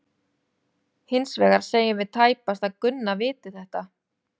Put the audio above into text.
Hins vegar segjum við tæpast að Gunna viti þetta.